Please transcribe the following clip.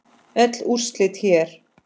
Öll úrslit hér